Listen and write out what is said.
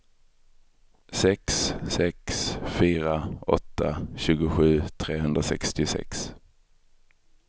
sex sex fyra åtta tjugosju trehundrasextiosex